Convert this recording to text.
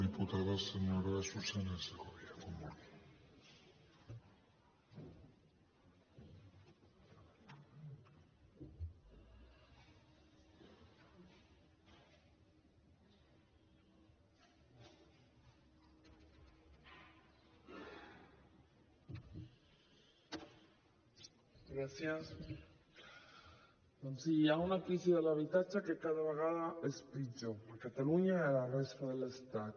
doncs sí hi ha una crisi de l’habitatge que cada vegada és pitjor a catalunya i a la resta de l’estat